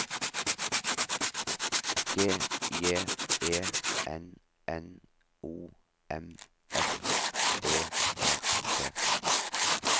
G J E N N O M F Ø R T